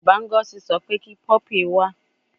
Baba Ngozi so pe ki puppy wa